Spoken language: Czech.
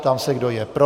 Ptám se, kdo je pro.